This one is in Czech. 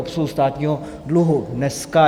Obsluhu státního dluhu dneska.